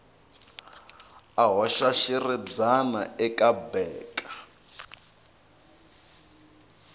a hoxa xiribyana eka beaker